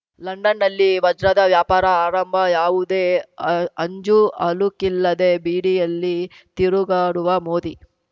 ಲಂಡನ್‌ನಲ್ಲಿ ವಜ್ರದ ವ್ಯಾಪಾರ ಆರಂಭ ಯಾವುದೇ ಅಂಜುಅಳುಕಿಲ್ಲದೆ ಬೀಡಿಯಲ್ಲಿ ತಿರುಗಾಡುವ ಮೋದಿ